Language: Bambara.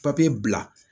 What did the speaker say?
Papiye bila